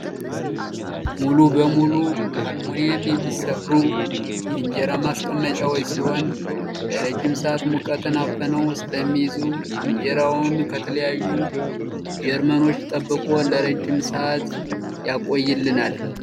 ሙሉ በሙሉ ከአሉሚንደም የሚሰሩ የእንጀራ ማስቀመጫዎች ሲሆን ለረጅም ሰዓት ሙቀትን አፍነው ስለሚይዙ እንጀራውን ከተለያዩ ጀርሞች ጠብቆ ለረጅም ሰዓት ያቆየልናል ።